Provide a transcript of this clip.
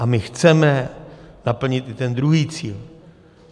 A my chceme naplnit i ten druhý cíl.